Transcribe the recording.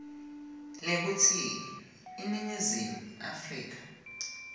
lekutsi iningizimu afrika